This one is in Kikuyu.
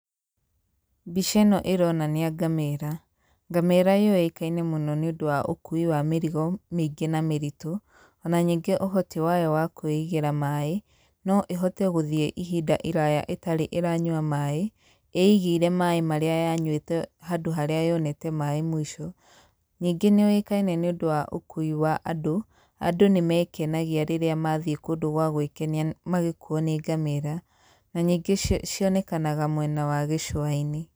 Mbica ĩno ĩronania ngamĩra. Ngamĩra yũĩkaine mũno nĩũndũ wa ũkui wa mĩrigo mĩingĩ na mĩritũ, ona ningĩ ũhoti wayo wa kwĩigĩra maĩ, no ĩhote gũthiĩ ihinda iraya ĩtarĩ ĩranyua maĩ, ĩigĩire maĩ maria yanyuĩte handũ harĩa yonete maĩ mũico, ningĩ nĩyũĩkaine nĩũndũ wa ũkui wa andũ, andũ nĩmekanagia rĩrĩa mathiĩ kũndũ gwa gwĩkenia magĩkuo nĩ ngamĩra, na ningĩ cionekanaga mwena wa gĩcũainĩ